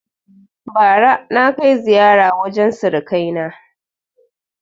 Bara na kai ziƴara wajen suruƙa kai na